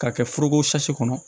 K'a kɛ foroko kɔnɔ